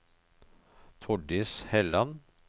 Tordis Helland